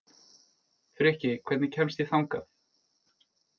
Frikki, hvernig kemst ég þangað?